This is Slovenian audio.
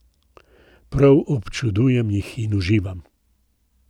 Prav občudujem jih in uživam.